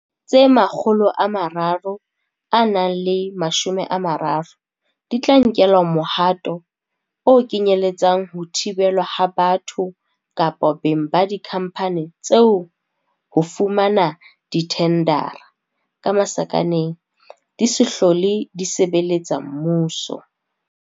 Tse 330 di tla nkelwa mohato o kenyele tsang ho thibelwa ha batho kapa beng ba dikhampani tseo ho fumana dithendara, di se hlole di sebeletsa mmuso.